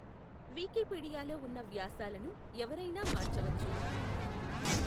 వికీపీడియాలో ఉన్న వ్యాసాలను ఎవరయినా మార్చవచ్చు.